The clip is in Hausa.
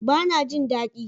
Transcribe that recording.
Bana jin dadi